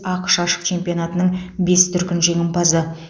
ақш ашық чемпионатының бес дүркін жеңімпазы